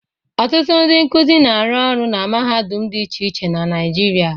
Ọtụtụ ndị nkụzi na-arụ orụ na mahadum dị iche iche na Naịjirịa.